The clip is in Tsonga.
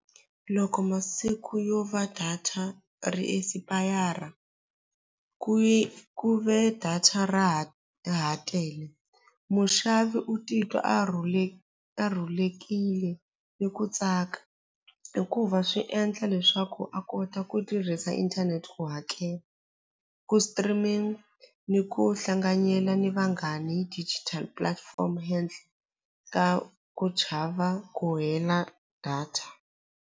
Loko masiku yo va data ri expire ku esipayara ku ve data ra ha ra ha tele muxavi u titwa a a rhulekile ni ku tsaka hikuva swi endla leswaku a kota ku tirhisa inthanete ku hakela ku streaming ni ku hlanganyela ni vanghani digital platform handle ka ku chava ku hela data.